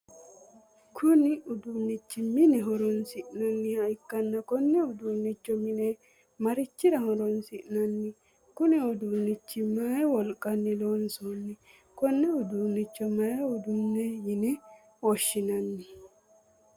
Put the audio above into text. Kunni uduunichi mine horoonsi'nanniha ikanna konne uduunicho mine marichira horoonsi'nanni? Kunni uduunichi mayi wolqanni loosanni? Konni uduunicho mayi uduune yinne woshinnanni?